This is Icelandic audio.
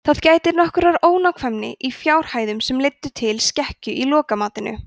þá gætti nokkurrar ónákvæmni í fjárhæðum sem leiddu til skekkju í lokamatinu